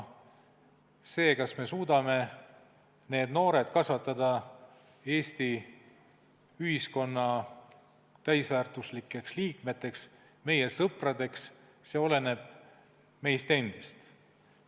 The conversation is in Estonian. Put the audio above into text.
See, kas me suudame need noored kasvatada Eesti ühiskonna täisväärtuslikeks liikmeteks, meie sõpradeks, oleneb meist endist.